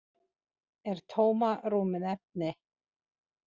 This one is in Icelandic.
Er tómarúm efni?